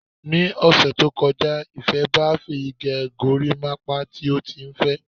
Ni ọ̀sẹ̀ tó kọjá, Ìfé ba Fèyí gẹ gorímápá tí ó tí n fẹ.